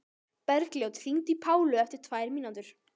Bergljót, hringdu í Pálu eftir tvær mínútur.